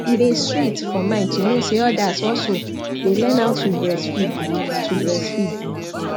e day sweet for mind to know say others also day learn how to breastfeed to breastfeed